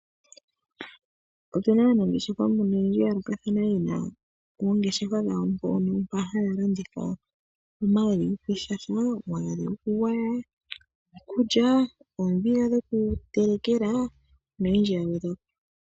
Opu na aanangeshefa oyendji ya hala okukala haya landitha omagadhi gokwiishasha, omagadhi gokugwaya, omagadhi gokulya. Oombiga dhokutelekela nosho tuu.